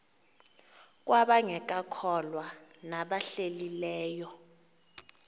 kwabangekakholwa nabahlehli leyo